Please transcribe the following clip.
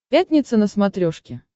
пятница на смотрешке